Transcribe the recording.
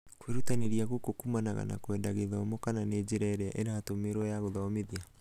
kwĩrutanĩria gũkũ kũmanaga na kwenda gĩthomo kana njĩra ĩria ĩratũmĩrwo ya gũthomithia.